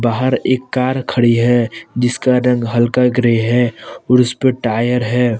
बाहर एक कार खड़ी है जिसका रंग हल्का ग्रे है और उसपे टायर है।